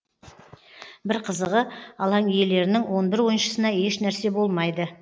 бір қызығы алаң иелерінің он бір ойыншысына ешнәрсе болмайды